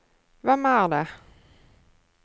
hvem er det